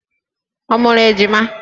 Ọ mụrụ ejima?